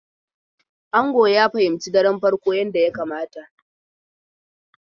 Ango ya fahimci daren farko yadda ya kamata.